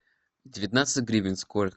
девятнадцать гривен сколько